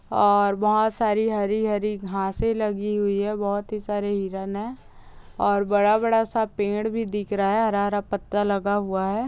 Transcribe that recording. और बहुत सारी हरी-हरी घासे लगी हुई है बहुत ही सारे हिरण है और बड़ा-बड़ा सा पेड़ भी दिख रहा है हरा-हरा पत्ता लगा हुआ है।